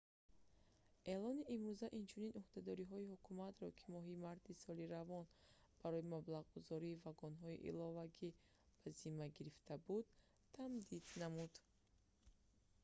эълони имрӯза инчунин ӯҳдадориҳои ҳукуматро ки моҳи марти соли равон барои маблағгузории вагонҳои иловагӣ ба зимма гирифта буд тамдид намуд